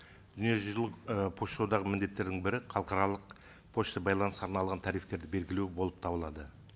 дүниежүзілік ы пошта одағының міндеттерінің бірі халықаралық пошта байланысқа арналған тарифтерді белгілеу болып табылады